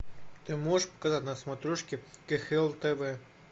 ты можешь показать на смотрешке кхл тв